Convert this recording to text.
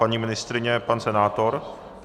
Paní ministryně, pan senátor?